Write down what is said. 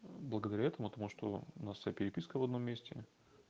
благодаря этому тому что у нас вся переписка в одном месте